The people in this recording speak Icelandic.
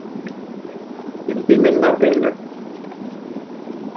Þetta er bara byrði minnar vinnu.